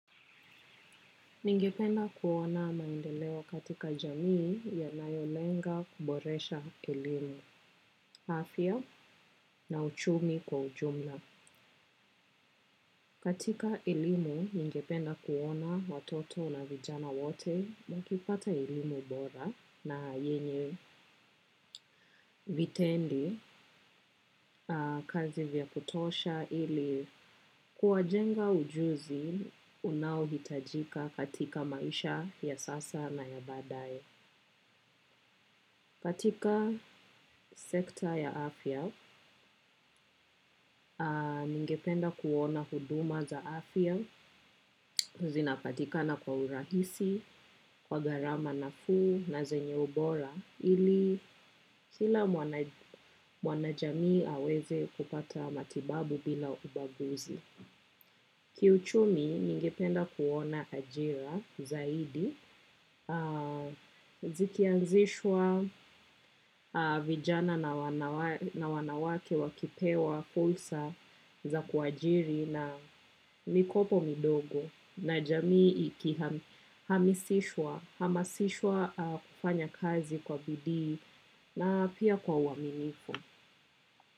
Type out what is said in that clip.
Ningependa kuona maendeleo katika jamii yanayolenga kuboresha elimu, afya na uchumi kwa jumla. Katika elimu, ningependa kuona watoto na vijana wote wakipata elimu bora na yenye vitendi kazi vya kutosha ili kuwajenga ujuzi unao hitajika katika maisha ya sasa na ya baadaye. Katika sekta ya afya, ningependa kuona huduma za afya zinapatikana kwa urahisi, kwa gharama nafuu na zenye ubora ili kila mwanajamii aweze kupata matibabu bila ubaguzi. Kiuchumi ningependa kuona ajira zaidi zikianzishwa vijana na wanawake wakipewa fursa za kuajiri na mikopo midogo na jamii iki hamisishwa hamasishwa kufanya kazi kwa bidii na pia kwa uaminifu.